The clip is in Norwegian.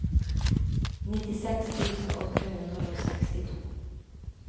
nittiseks tusen åtte hundre og sekstito